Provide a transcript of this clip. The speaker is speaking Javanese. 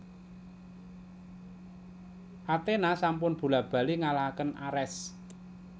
Athena sampun bola bali ngalahaken Ares